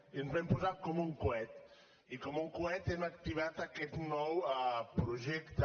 i ens vam posar com un coet i com un coet hem activat aquest nou projecte